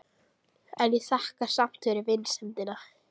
En ég þakka samt fyrir vinsemdina.